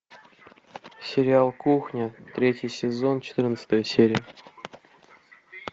сериал кухня третий сезон четырнадцатая серия